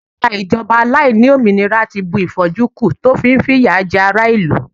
agbara ijoba aláìlómìnira ti bu if'oju ku, ti o fi n fi iya je ara ilu